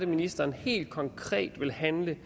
ministeren helt konkret vil handle